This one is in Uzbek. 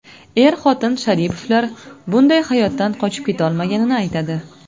Er-xotin Sharipovlar bunday hayotdan qochib ketolmaganini aytadi.